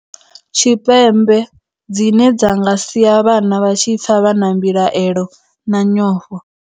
Tshipembe, dzine dza nga sia vhana vha tshi pfa vha na mbilaelo na nyofho.